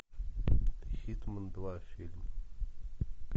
хитмэн два фильм